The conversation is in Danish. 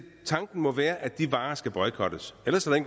tanken må være at de varer skal boykottes ellers er